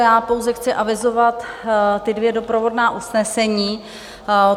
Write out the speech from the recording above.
Já pouze chci avizovat ta dvě doprovodná usnesení.